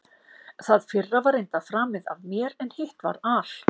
Það fyrra var reyndar framið af mér, en hitt var al